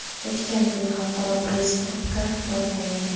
O‘tgan kuni xalqaro press-klubga borgan edim.